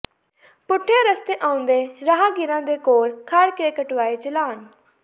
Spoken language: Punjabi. ਪੁੱਠੇ ਰਸਤੇ ਆਉਂਦੇ ਰਾਹਗੀਰਾਂ ਦੇ ਕੋਲ ਖੜ ਕੇ ਕਟਵਾਏ ਚਲਾਨ